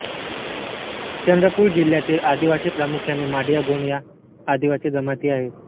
चंद्रपूर जिल्ह्यातील आदिवासी प्रामुख्याने माडीयागोंड ह्या आदिवासी जमाती आहेत